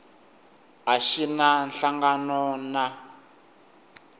a xi na nhlangano na